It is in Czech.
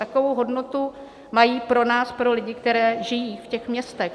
Takovou hodnotu mají pro nás, pro lidi, kteří žijí v těch městech.